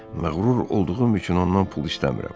Mağrur olduğum üçün ondan pul istəmirəm.